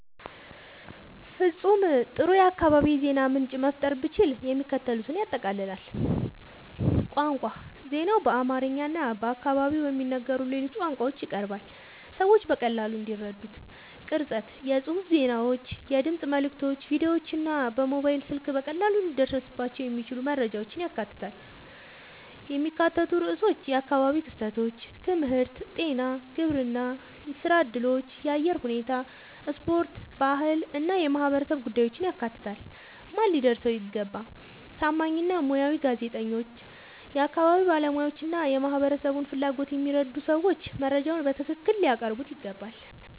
ፍጹም ጥሩ የአካባቢ የዜና ምንጭ መፍጠር ብችል፣ የሚከተሉትን ያጠቃልላል፦ ቋንቋ ዜናው በአማርኛ እና በአካባቢው በሚነገሩ ሌሎች ቋንቋዎች ይቀርባል፣ ሰዎች በቀላሉ እንዲረዱት። ቅርጸት የጽሑፍ ዜናዎች፣ የድምፅ መልዕክቶች፣ ቪዲዮዎች እና በሞባይል ስልክ በቀላሉ ሊደረስባቸው የሚችሉ መረጃዎችን ያካትታል። የሚካተቱ ርዕሶች የአካባቢ ክስተቶች፣ ትምህርት፣ ጤና፣ ግብርና፣ ሥራ እድሎች፣ የአየር ሁኔታ፣ ስፖርት፣ ባህል እና የማህበረሰብ ጉዳዮችን ያካትታል። ማን ሊያደርሰው ይገባ? ታማኝ እና ሙያዊ ጋዜጠኞች፣ የአካባቢ ባለሙያዎች እና የማህበረሰቡን ፍላጎት የሚረዱ ሰዎች መረጃውን በትክክል ሊያቀርቡት ይገባል።